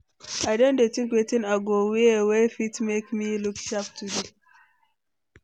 I don dey think wetin I go wear wey fit make me look sharp today.